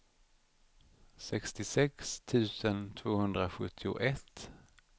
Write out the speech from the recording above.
sextiosex tusen tvåhundrasjuttioett